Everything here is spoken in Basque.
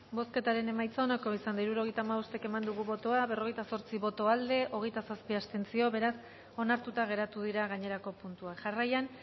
bozketaren emaitza onako izan da hirurogeita hamabost eman dugu bozka berrogeita zortzi boto aldekoa hogeita zazpi abstentzio beraz onartuta geratu dira gainerako puntuak jarraian